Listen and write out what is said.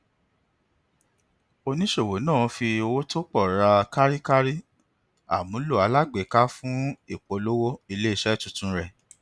oníṣòwò náà fi owó tó pọ ra kárí kárí àmúlò alágbèéká fún ìpolówó ilé iṣẹ tuntun rẹ